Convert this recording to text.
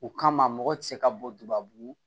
O kama mɔgɔ ti se ka bɔ dubabu